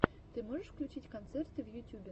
ты можешь включить концерты в ютюбе